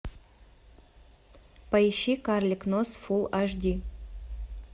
поищи карлик нос фулл аш ди